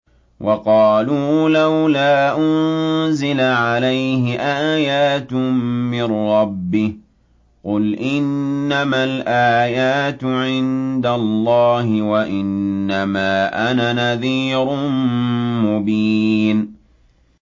وَقَالُوا لَوْلَا أُنزِلَ عَلَيْهِ آيَاتٌ مِّن رَّبِّهِ ۖ قُلْ إِنَّمَا الْآيَاتُ عِندَ اللَّهِ وَإِنَّمَا أَنَا نَذِيرٌ مُّبِينٌ